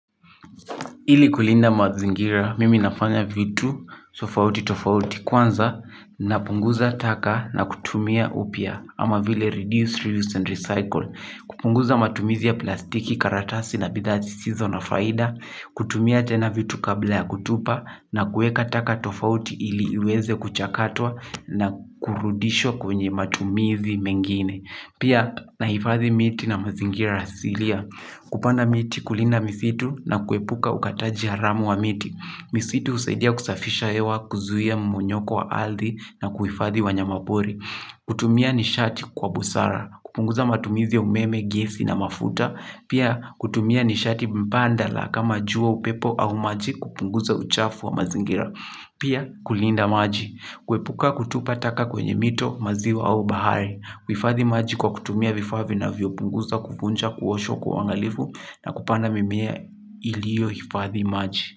Ili kulinda mazingira, mimi nafanya vitu tofauti tofauti. Kwanza, napunguza taka na kutumia upya, ama vile 'reduce, re use and recycle'. Kupunguza matumizi ya plastiki, karatasi na bidhaa zisizo na faida, kutumia tena vitu kabla ya kutupa, na kuweka taka tofauti ili uweze kuchakatwa na kurudishwa kwenye matumizi mengine. Pia naifadhi miti na mazingira asilia. Kupanda miti, kulinda misitu na kuepuka ukataji haramu wa miti. Misitu husaidia kusafisha hewa, kuzuia mmonyoko wa ardhi na kuhifadhi wanyama pori. Kutumia nishati kwa busara. Kupunguza matumizi umeme, gesi na mafuta. Pia kutumia nishati mbadala kama jua, upepo au maji, kupunguza uchafu wa mazingira. Pia kulinda maji, kuepuka kutupa taka kwenye mito, maziwa au bahari, kuhifadhi maji kwa kutumia vifaa vinavyopunguza kuvunja kuoshwa kwa uangalifu na kupanda mimea iliyohifadhi maji.